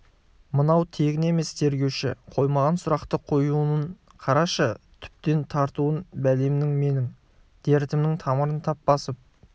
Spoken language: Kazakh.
мынау тегін емес тергеуші қоймаған сұрақты қоюын қарашы түптеп тартуын бәлемнің менің дертімнің тамырын тап басып